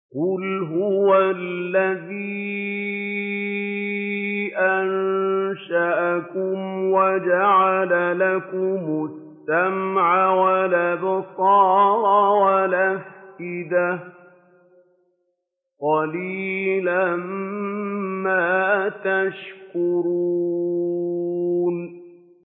قُلْ هُوَ الَّذِي أَنشَأَكُمْ وَجَعَلَ لَكُمُ السَّمْعَ وَالْأَبْصَارَ وَالْأَفْئِدَةَ ۖ قَلِيلًا مَّا تَشْكُرُونَ